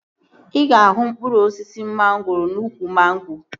Ị ga-ahụ mkpụrụ osisi mangoro n'úkwù mango